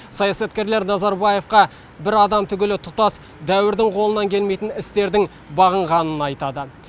саясаткерлер нұрсұлтан назарбаевқа бір адам түгілі тұтас дәуірдің қолынан келмейтін үлкен істер бағынғанын айтады